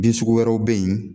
Bin sugu wɛrɛw be ye